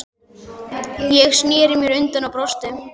Ég sneri mér undan og brosti.